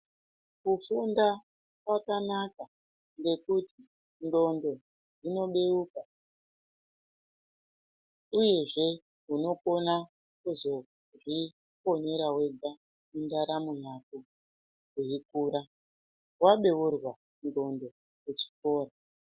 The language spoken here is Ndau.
Kufunda kwakanaka ngekuti ndxondo dzinobeuka, uyezve unokona kuzozviponera wega ,mundaramo yako weikura wabeurwa ndxondo kuchikora.